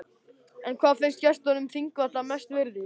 En hvað finnst gestum þingvalla mest virðis?